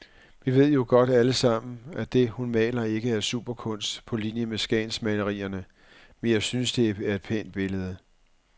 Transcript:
Vi ved jo godt alle sammen, at det, hun maler, ikke er superkunst på linie med skagensmalerierne, men jeg synes det er et pænt billede.